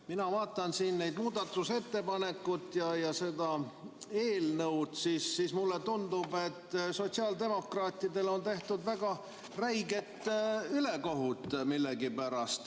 Mina vaatan siin neid muudatusettepanekuid ja seda eelnõu ja mulle tundub, et sotsiaaldemokraatidele on tehtud millegipärast väga räiget ülekohut.